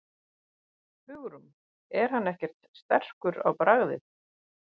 Hugrún: Er hann ekkert sterkur á bragðið?